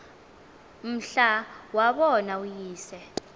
mhla wabona uyise